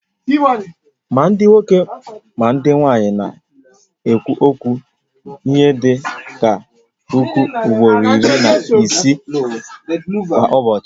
Ma ndị nwoke ma ndị nwanyị na-ekwu okwu ihe dị ka puku ugboro iri na isii kwa ụbọchị